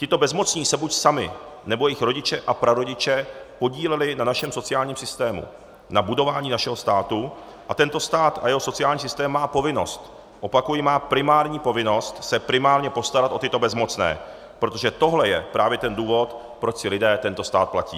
Tito bezmocní se buď sami, nebo jejich rodiče a prarodiče podíleli na našem sociálním systému, na budování našeho státu a tento stát a jeho sociální systém má povinnost - opakuji, má primární povinnost se primárně postarat o tyto bezmocné, protože tohle je právě ten důvod, proč si lidé tento stát platí.